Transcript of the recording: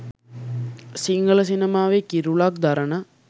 සිංහල සිනමාවේ කිරුළක් දරන